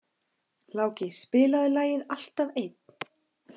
Láki, spilaðu lagið „Alltaf einn“.